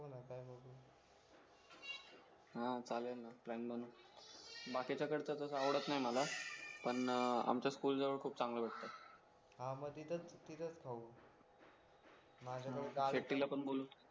हा चालेल ना प्लॅन बनव बाकीचं कसं कसं आवडत नाही मला पण आमच्या स्कूल जवळ चांगलं मिळतं हा मग तिथेच तिथेच खाऊ शेट्टीला पण बोलू